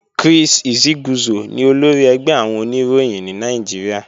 Chris Isiguzo ni olórí ẹgbẹ́ àwọn Oníròyìn ní Nàìjíríà